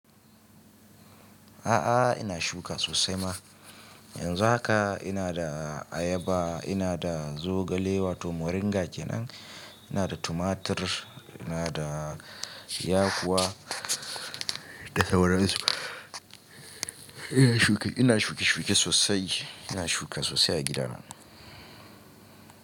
A'a, ina shuka sosai ma. Yanzu haka ina da ayaba, ina da zogale wato moringa kenan, ina da tumatir, ina da yakuwa, da sauran su. Ina shuka, ina shuke-shuke sosai. Ina shuka sosai a gida na.